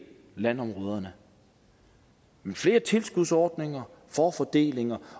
landområderne men flere tilskudsordninger forfordelinger